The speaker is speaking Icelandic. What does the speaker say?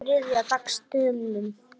um þriðja dags dömum.